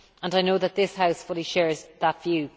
I know that this House fully shares that view.